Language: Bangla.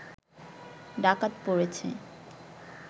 ডাকাত পড়েছে